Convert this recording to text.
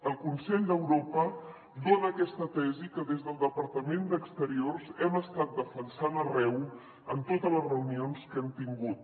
el consell d’europa dona aquesta tesi que des del departament d’exteriors hem estat defensant arreu en totes les reunions que hem tingut